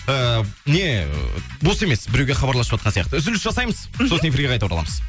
ііі не ііі бос емес біруге хабарласып жатқан сияқты үзіліс жасаймыз мхм сосын эфирге қайта ораламыз